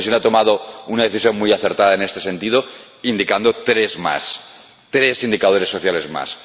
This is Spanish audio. La Comisión ha tomado una decisión muy acertada en este sentido, señalando tres indicadores sociales más.